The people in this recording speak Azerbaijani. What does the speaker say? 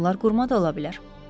Bunlar qurma da ola bilər.